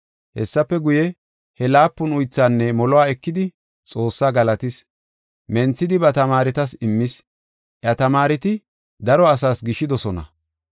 Hessafe guye, he laapun uythaanne moluwa ekidi Xoossaa galatis. Menthidi ba tamaaretas immis. Iya tamaareti daro asaas gishidosona.